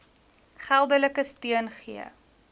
geldelike steun gee